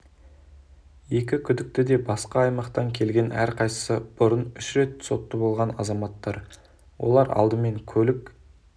екі күдікті де басқа аймақтан келген әрқайсысы бұрын үш рет сотты болған азаматтар олар алдымен көлік